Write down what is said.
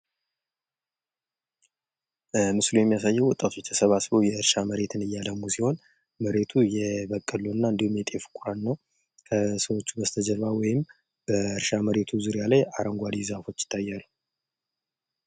ምስሉ የሚያሳየው ወጣቶች ተሰባስበው የእርሻ መሬት እያለሙ ሲሆን የመሬቱ የበቆሎና እንዲሁም የጤፍ ነው። ከሰዎች በስተጀርባ ወይም ከእርሻ መሬቱ ዙሪያ ላይ አረንጓዴ ዛፎች ይታያሉ ።